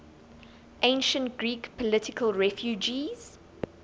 ancient greek political refugees